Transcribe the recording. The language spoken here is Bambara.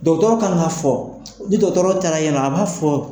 kan ka fɔ ni taara yennɔ a b'a fɔ.